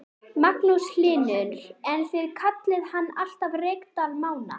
Magnús Hlynur: En þið kallið hann alltaf Reykdal Mána?